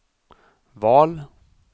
val